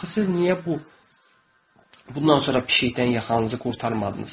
Axı siz niyə bu bundan sonra pişikdən yaxanızı qurtarmadınız?